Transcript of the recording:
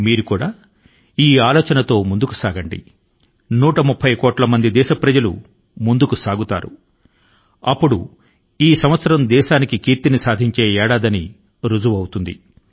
మీరు ముందుకు సాగితే 130 కోట్ల మంది దేశ ప్రజలు ముందుకు సాగుతారు అప్పుడు ఈ సంవత్సరం దేశాని కి కీర్తి ని సాధించే ఏడాది గా రుజువు అవుతుంది